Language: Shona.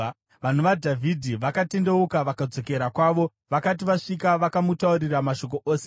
Vanhu vaDhavhidhi vakatendeuka vakadzokera havo. Vakati vasvika, vakamutaurira mashoko ose.